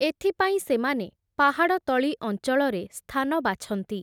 ଏଥିପାଇଁ ସେମାନେ, ପାହାଡ଼ତଳି ଅଞ୍ଚଳରେ ସ୍ଥାନ ବାଛନ୍ତି ।